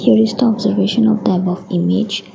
there is the observation of type of image.